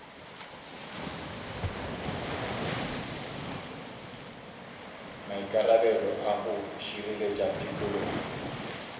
maikarabelo a go šireletša tikologo